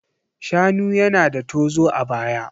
Shanu yana da tozo a baya.